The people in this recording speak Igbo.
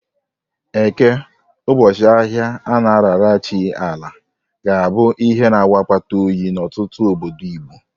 Eke, ụbọchị ahịa a na-arara chi Ala, ga-abụ ihe na-awụ akpata oyi n'ahụ n'ọtụtụ obodo Igbo.